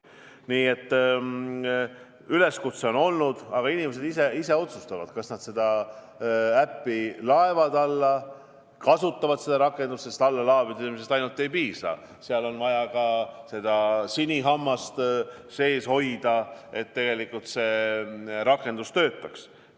Nii et üleskutse on olnud, aga inimesed ise otsustavad, kas nad laevad selle äpi alla ja kas nad kasutavad seda, sest allalaadimisest ainult ei piisa, seal on vaja ka seda sinihammast sees hoida, et see rakendus töötaks.